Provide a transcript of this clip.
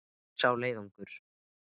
Hver er sá leiðangur?